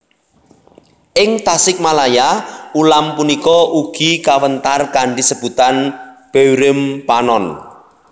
Ing Tasikmalaya ulam punika ugi kawéntar kanthi sebutan beureum panon